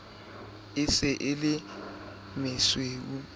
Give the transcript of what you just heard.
e se e le mesuwe